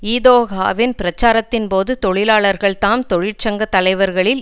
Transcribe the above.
இதொகாவின் பிரச்சாரத்தின் போது தொழிலாளர்கள் தாம் தொழிற்சங்க தலைவர்களில்